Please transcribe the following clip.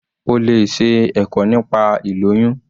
O lè ṣe ẹ̀kọ́ nípa ilóyún.